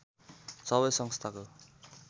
सबै संस्थाको